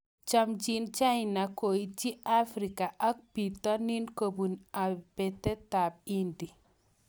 Chamjin China koityi Afrika ak bitonin kobun aibetab Hindi.